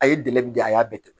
A ye dɛmɛ di a y'a bɛɛ tɛmɛ